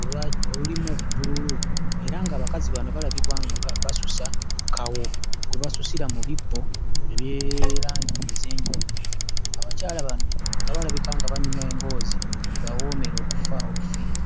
olwa... olulimu bbululu era ng'abakazi bano balabika nga basusa kawo gwe basusira mu bibbo ebya langi ez'enjawulo. Abakyala bano nga balabika nga banyumya emboozi ebawoomera okufa obufi.